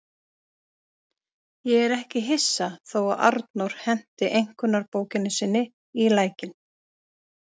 Ég er ekki hissa þó að Arnór henti einkunnabókinni sinni í lækinn.